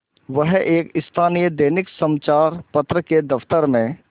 वह एक स्थानीय दैनिक समचार पत्र के दफ्तर में